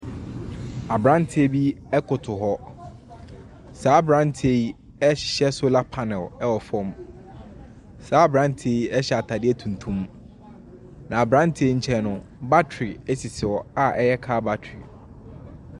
Abranteɛ bi ɛkotow hɔ. Saa abranteɛ yi ɛhyehyɛ sola panil ɛwɔ fam. Saa abranteɛ yi ɛhyɛ ataadeɛ tuntum. Na abranteɛ yi nkyɛn no batere esisi hɔ a ɛyɛ kaa batere.